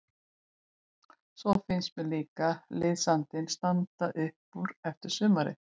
Svo finnst mér líka liðsandinn standa upp úr eftir sumarið.